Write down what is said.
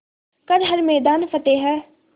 कर हर मैदान फ़तेह